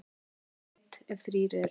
Þjóð veit, ef þrír eru.